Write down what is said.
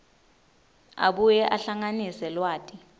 abuye ahlanganise lwati